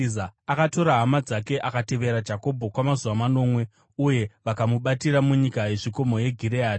Akatora hama dzake, akatevera Jakobho kwamazuva manomwe uye vakamubatira munyika yezvikomo yeGireadhi.